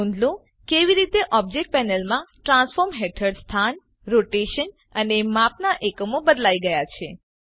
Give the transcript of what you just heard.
નોંધ લો કેવી રીતે ઓબજેક્ટ પેનલમાં ટ્રાન્સફોર્મ હેઠળ સ્થાન રોટેશન અને માપનાં એકમો બદલાઈ ગયા છે